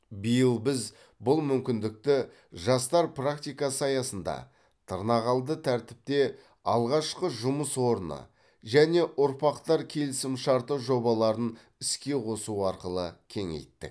биыл біз бұл мүмкіндікті жастар практикасы аясында тырнақалды тәртіпте алғашқы жұмыс орны және ұрпақтар келісімшарты жобаларын іске қосу арқылы кеңейттік